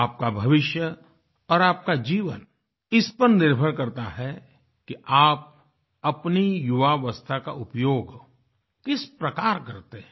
आपका भविष्य और आपका जीवन इस पर निर्भर करता है कि आप अपनी युवावस्था का उपयोग किस प्रकार करते हैं